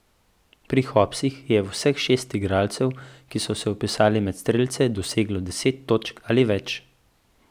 Pri Hopsih je vseh šest igralcev, ki so se vpisali med strelce, doseglo deset točk ali več.